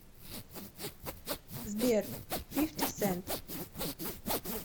сбер фифти сент